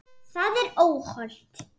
Það er óhollt.